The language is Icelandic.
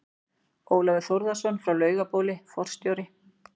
Ólafur Þórðarson frá Laugabóli, forstjóri